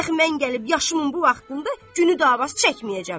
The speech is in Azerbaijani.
Dəxi mən gəlib yaşımın bu vaxtında günü dava çəkməyəcəm.